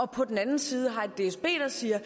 på den anden side har et dsb der siger